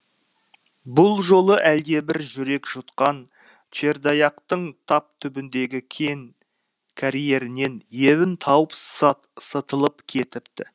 бұл жолы әлдебір жүрек жұтқан чердояқтың тап түбіндегі кен карьерінен ебін тауып сытылып кетіпті